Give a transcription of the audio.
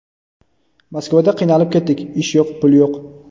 Moskvada qiynalib ketdik, ish yo‘q, pul yo‘q.